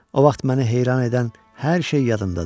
O vaxt məni heyran edən hər şey yadımdadır.